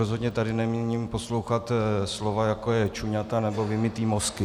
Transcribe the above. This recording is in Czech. Rozhodně tady nemíním poslouchat slova jako je čuňata nebo vymytý mozky.